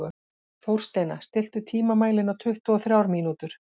Þórsteina, stilltu tímamælinn á tuttugu og þrjár mínútur.